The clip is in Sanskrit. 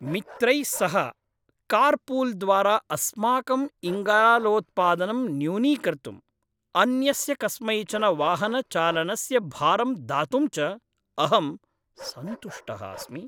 मित्रैः सह कार्पूल् द्वारा अस्माकम् इङ्गालोत्पादनं न्यूनीकर्तुम्, अन्यस्य कस्मैचन वाहनचालनस्य भारम् दातुं च अहं सन्तुष्टः अस्मि।